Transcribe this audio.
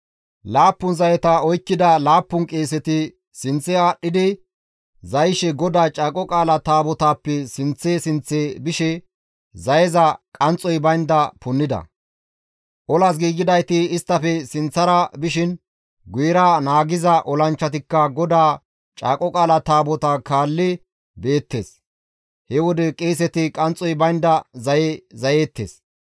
Laappun zayeta oykkida laappun qeeseti sinththe aadhdhidi zayishe GODAA Caaqo Qaala Taabotaappe sinththe sinththe bishe zayeza qanxxoy baynda punnida; olas giigidayti isttafe sinththara bishin guyera naagiza olanchchatikka GODAA Caaqo Qaala Taabotaa kaalli beettes; he wode qeeseti qanxxoy baynda zaye zayeettes.